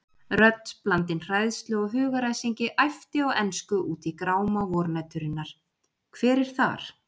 Rödd blandin hræðslu og hugaræsingi æpti á ensku út í gráma vornæturinnar: Hver er þar?!